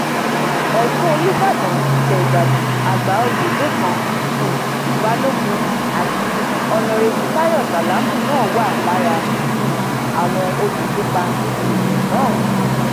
ọtún olùbàdàn tilé ìbàdàn àgbàòye lẹkan um balógun àti ọnàrẹbù táyọ sálámù náà wà lára um àwọn olùkópa níbi ètò náà